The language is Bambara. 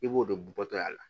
I b'o de bɔtɔ a la